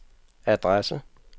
adresse